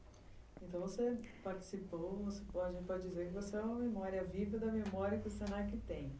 Então você participou, a gente pode dizer que você é uma memória viva da memória que o se na que tem.